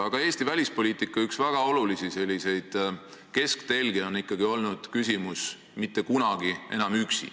Aga Eesti välispoliitika üks väga olulisi kesktelgi on olnud ikkagi põhimõte "Mitte kunagi enam üksi".